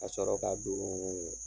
Ka sɔrɔ ka don